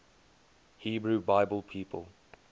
hebrew bible people